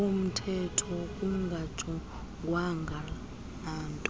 womthetho kungajongwanga nanto